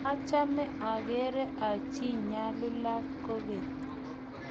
machame ageere achi nyalulat kwekeny